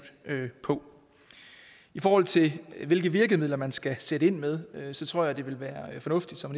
på i forhold til hvilke virkemidler man skal sætte ind med tror jeg det vil være fornuftigt som